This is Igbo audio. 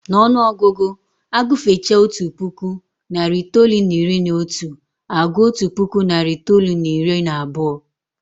N'ọnụọgụgụ, agụfechaa otu puku, narị itoolu na iri na otu, a gụọ otu puku, narị itoolu na iri na abụọ